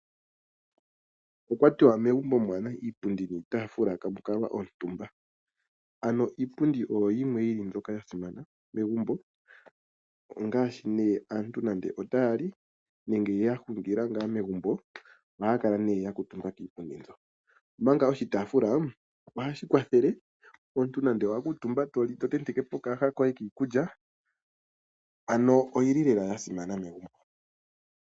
Okwa tiwa megumbo kaamuna iipundi niitaafula ihamu kalwa omutumba . Iipundi niitaafula oyo yimwe yili yasimana megumbo ongaashi ngele aantu taya li nenge yahungila megumbo, ohaya kala yakuutumba kiipundi yawo . Omanga oshitaafula ohashi kwathele omuntu nande owa kuutumba to li tontekepo okayaha koye kiikulya. Ano oyili lela oyasimana .